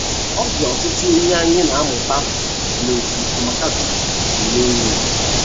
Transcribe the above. Ọ dị ọtụtụ ihe anyị na - amụta n’otú Amakachukwu si mee ihe.